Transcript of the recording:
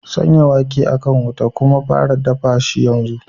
Sanya wake a kan wuta kuma fara dafa shi yanzu!